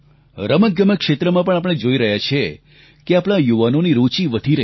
રમતગમત ક્ષેત્રમાં પણ આપણે જોઈ રહ્યાં છીએ કે આપણા યુવાનોની રૂચિ વધી રહી છે